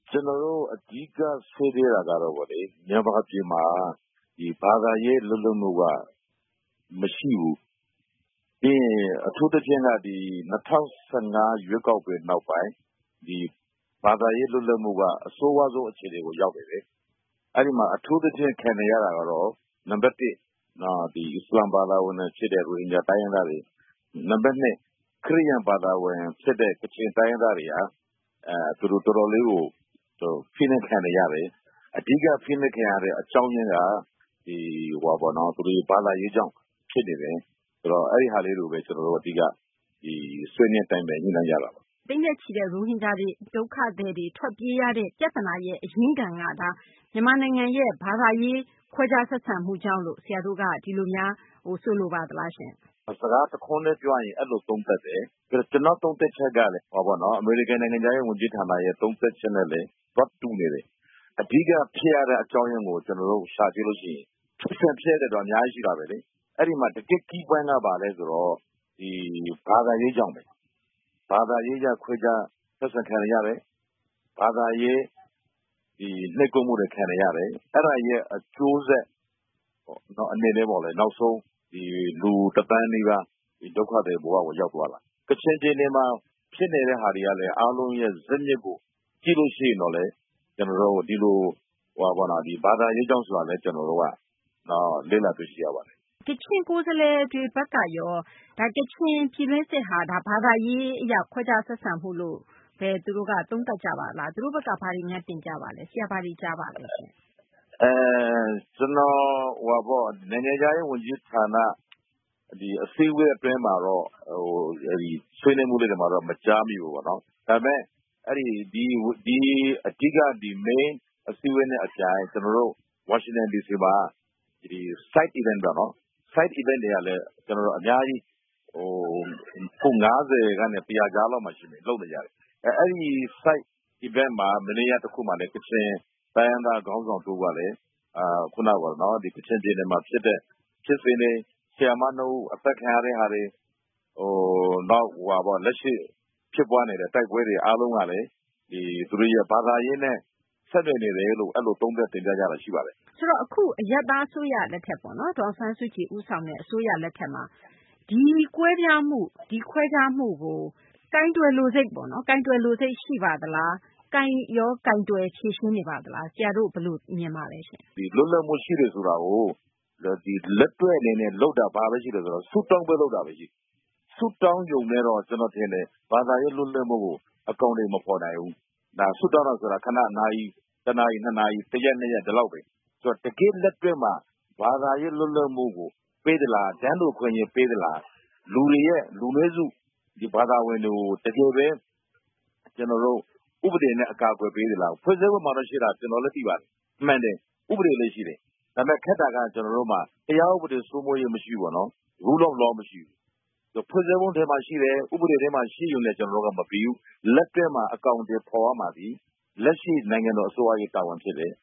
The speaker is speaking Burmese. ကျနော်တို့ အဓိကဆွေးနွေးတာကတော့ မြန်မာပြည်မှာ ဘာသာရေးလွတ်လပ်မှုက မှရှိဘူး။ အထူးသဖြင့် ၂၀၁၅ ရွေးကောက်ပွဲနောက်ပိုင်း ဘာသာရေးလွတ်လပ်မှုကအဆိုးရွားဆုံးအခြေအနေကို ရောက်နေတယ်။ အဲဒီမှာ အထူးသဖြင့်ခံနေရတာက နံပတ် ၁ အစ္စလာမ်ဘာသာဝင်တွေဖြစ်တဲ့ ရိုဟင်ဂျာတွေဖြစ်တယ်၊ နံပတ် ၂ ခရစ်ယာန်ဘာသာဝင်တွေဖြစ်တဲ့ ကချင်တိုင်းရင်းသားတွေက ဖိနှိပ်ခံနေရတယ်။ အဓိက ဖိနှိပ်ခံနေရတဲ့အကြောင်းကတော့ ဘာသာရေးကြောင့်ဖြစ်နေတယ်။ ဆိုတော့ အဲဒါလေးတွေပဲ အဓိကဆွေးနွေးတိုင်ပင်ညှိနှိုင်းကြတာပါ။ သိန်းနဲ့ချီတဲ့ ရိုဟင်ဂျာတွေထွက်ပြေးရတဲ့ ပြဿနာရဲ့ အရင်းခံက မြန်မာနိုင်ငံရဲ့ ခွဲခြားဆက်ဆံမှုကြောင့်လို့ ဆရာတို့က ဒီလိုများဆိုပါသလားရှင့်။ တခွန်းတည်းပြောရရင် အဲလိုသုံးသပ်တယ်။ ကျနော်သုံးသပ်ချက်ကတော့ အမေရိကန် နိုင်ငံခြားရေး ဝန်ကြီးဌာနရဲ့ သုံးသပ်ချက်နဲ့လည်း သွားတူနေတယ်။ အဓိကဖြစ်ရတဲ့ အကြောင်းအရင်းကို ကျနော်တို့ ရှာကြည့်ရင် အချက်တွေတော့အများကြီးရှိတယ်။ တကယ့်Key Point က ဘာသာရေးကြောင့်ပဲ။ ဘာသာရေးကြောင့်ခွဲခြားဆက်ဆံခံနေရတယ်၊ ဘာသာရေးနိတ်ကွက်မှုတွေခံနေရတယ်၊ အဲဒါအကျိုးဆက်အနေနဲ့ လူ ၁ သန်းနီးပါး ဒုက္ခသည်ဘဝကို ရောက်သွားပါတယ်။ ကချင်ပြည်နယ်မှာ ဖြစ်နေတာတွေလည်း အားလုံးဇစ်မြစ်ကို ကြည့်ရင် ဘာသာရေးကြောင့်ဆိုတာ ကျနော်တို့ လေ့လာတွေ့ရှိရပါတယ်။ ကချင်ကိုယ်စားလှယ်တွေဘက်ကရော ကချင်ပြည်တွင်းစစ်ဟာ ဘာသာရေးအရ ခွဲခြားဆက်ဆံတာလို့ သူတို့ သုံးသပ်ကြပါသလား။ နိုင်ငံခြားရေး ဝန်ကြီးဌာနအစည်းအဝေးအတွင်းမှာတော့ ဆွေးနွေးမှုတွေမှာတော့ မကြားမိဘူးပေါ့နော် ။ အဓိက အစည်းအဝေးနဲ့ အပြိုင် Washington D.C မှာ Side events တွေက ၅၀ ကနေ ၁၀၀ အကြားမှာ ရှိတယ်။ အဲဒီ Side events မနေ့က တခုမှာလည်း ကချင်တိုင်းရင်းသားခေါင်းဆောင်တဦးကလည်း ခုနက ကချင်ပြည်နယ်မှာဖြစ်တဲ့ ဖြစ်စဉ်တွေ ၊ ဆရာမ ၂ ဦးအသတ်ခံရတာတွေ လက်ရှိဖြစ်ပွားနေတဲ့ တိုက်ပွဲတွေအားလုံးက ဘာသာရေးနဲ့ ဆက်နွယ်နေတယ်လို့ သုံးသပ်တင်ပြတာရှိပါတယ်။ အခု အရပ်သားအစိုးရလက်ထက် ဒေါ်အောင်ဆန်းစုကြည်ဦးဆောင်တဲ့ အစိုးရလက်ထက်မှာ ဒီကွဲပြားမှု ၊ ခွဲခြားမှုကို ကိုင်တွယ်လိုစိတ်ပါသလား၊ ကိုင်တွယ်ဖြေရှင်းနေပါသလား ဘယ်လိုမြင်ပါသလဲ။ လွတ်လပ်မှုရှိတယ်ဆိုတာကို လက်တွေ့အနေနဲ့ လုပ်တာ ဘာပဲရှိလဲဆိုတော့ ဆုတောင်းပွဲလုပ်တာပဲ ရှိတယ်။ ဆုတောင်းတာနဲ့တော့ ဘာသာရေးလွတ်လပ်မှုကို အကောင်အထည်မဖော်နိုင်ဘူး။ ဆုတောင်းတာက ၁-၂ နာရီ၊ တရက် ၂ ရက် လောက်ပဲ ။ တကယ့်လက်တွေ့မှာ ဘာသာရေးလွတ်လပ်မှုကို ပေးသလား။တန်းတူအခွင့်အရေး ပေးသလား။ လူနည်းစုဘာသာဝင်တွေကို တကယ်ပဲ ဥပဒေနဲ့ အကာအကွယ်ပေးသလား၊ ဖွဲ့စည်းပုံမှာရှိတာကတော့ ကျနော်လည်းသိပါတယ်။ မှန်တယ် ဥပဒေလည်းရှိတယ် ဒါပေမယ့် ခက်တာက ကျနော်တို့မှာ တရားဥပဒေစိုးမိုးမှုမရှိဘူးပေါ့နော်။ Rule of Law မရှိဘူး ။ ဖွဲ့စည်းပုံထဲမှာတော့ရှိတယ် ဥပဒေထဲမှာရှိတာနဲ့ ကျနော်တို့က မပြီးဘူး လက်တွေမှာ အကောင်အထည်ဖော်ရမှာသည် လက်ရှိနိုင်ငံတော်အစိုးရတာဝန်ဖြစ်တယ်